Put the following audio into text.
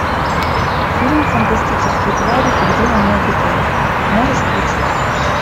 фильм фантастические твари и где они обитают можешь включить